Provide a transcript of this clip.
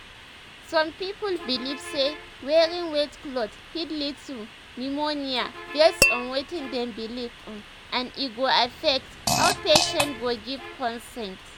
some people believe say wearing wet clothes fit lead to pneumonia based on wetin dem believe um and e go affect um how patients go give consent."